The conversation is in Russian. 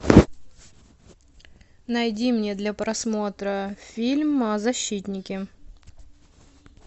найди мне для просмотра фильм защитники